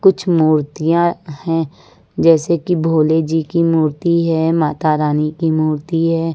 कुछ मूर्तियां हैं जैसे कि भोले जी की मूर्ति है माता रानी की मूर्ति है।